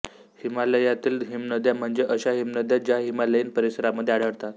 हिमालयातील हिमनद्या म्हणजे अश्या हिमनद्या ज्या हिमालयीन परिसरामध्ये आढळतात